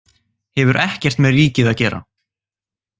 Hefur ekkert með ríkið að gera